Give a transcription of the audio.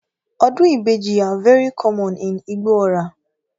Odun ibeji are very common in Igbo-Ora